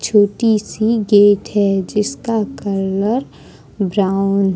छोटी सी गेट है जिसका कलर ब्राउन --